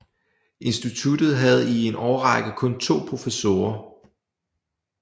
Instituttet havde i en årrække kun to professorer